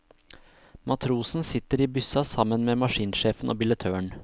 Matrosen sitter i byssa sammen med maskinsjefen og billettøren.